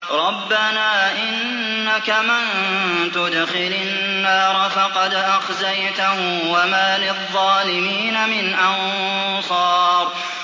رَبَّنَا إِنَّكَ مَن تُدْخِلِ النَّارَ فَقَدْ أَخْزَيْتَهُ ۖ وَمَا لِلظَّالِمِينَ مِنْ أَنصَارٍ